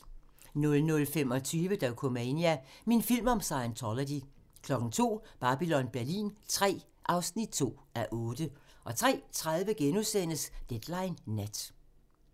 00:25: Dokumania: Min film om Scientology 02:00: Babylon Berlin III (2:8) 03:30: Deadline nat *